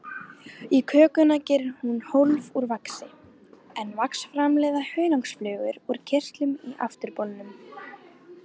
Í kökuna gerir hún hólf úr vaxi, en vax framleiða hunangsflugur úr kirtlum í afturbolnum.